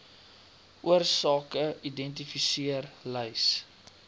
oorsake identifiseer lys